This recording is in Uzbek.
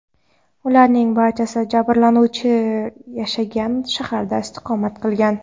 Ularning barchasi jabrlanuvchi yashagan shaharda istiqomat qilgan.